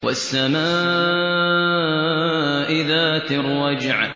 وَالسَّمَاءِ ذَاتِ الرَّجْعِ